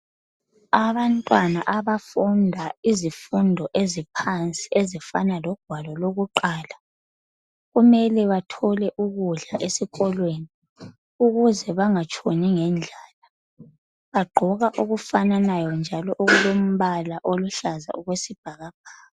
abantwana abafunda izifundo eziphansi ezifana logwalo lokuqala kumele bathole ukudla esikolweni ukuze bangatshoni ngendlalabagqoka okufananayo njalo okulombala oluhlaza okwesibhakabhaka